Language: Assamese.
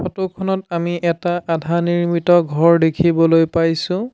ফটো খনত আমি এটা আধা নিৰ্মিত ঘৰ দেখিবলৈ পাইছোঁ।